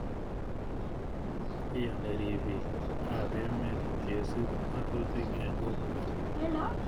Iyoni ripiik ao emet kesup ng'atutik eng' kokwet